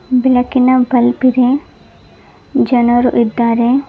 ಬೆಳಕಿನ ಬಲ್ಬ್ ಇದೆ ಜನರು ಇದ್ದಾರೆ.